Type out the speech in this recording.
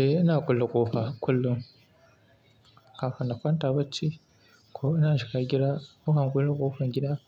Eh, ina kulle ƙofa kullum kafin in kwanta bacci ko ina shiga gida nakan kulle ƙofar gida,